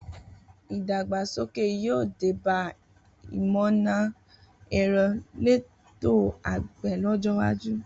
Idàgbá ṣókẹ yio dẹbà ìmọná ẹrọ lẹ̀tó àgbẹ lọjọ wàjú